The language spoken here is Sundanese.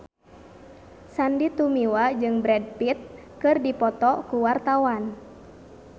Sandy Tumiwa jeung Brad Pitt keur dipoto ku wartawan